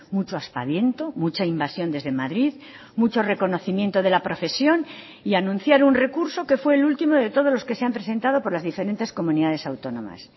mucho aspaviento mucha invasión desde madrid mucho reconocimiento de la profesión y anunciar un recurso que fue el último de todos los que se han presentado por las diferentes comunidades autónomas